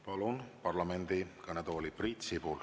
Palun parlamendi kõnetooli Priit Sibula.